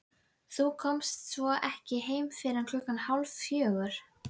Þú komst svo ekki heim fyrr en klukkan hálffjögur.